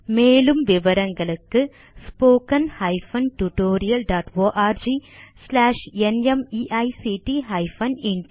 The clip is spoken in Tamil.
மேலும் விவரங்களுக்கு spoken hyphen tutorial dot org slash NMEICT hyphen intro தமிழாக்கம் பிரியா